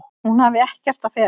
Hún hafi ekkert að fela.